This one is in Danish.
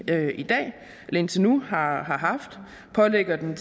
indtil nu har haft og lægger den